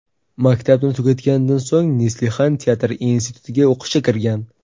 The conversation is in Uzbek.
Maktabni tugatganidan so‘ng Neslihan teatr institutiga o‘qishga kirgan.